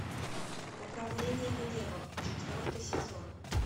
управление гневом четвертый сезон